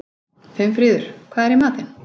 Finnfríður, hvað er í matinn?